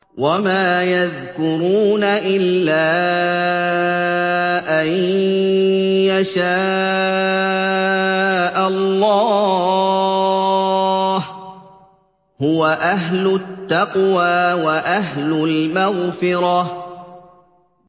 وَمَا يَذْكُرُونَ إِلَّا أَن يَشَاءَ اللَّهُ ۚ هُوَ أَهْلُ التَّقْوَىٰ وَأَهْلُ الْمَغْفِرَةِ